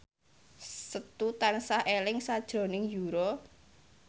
Setu tansah eling sakjroning Yura